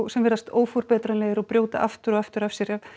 sem virðast óforbetranlegir og brjóta aftur og aftur af sér ef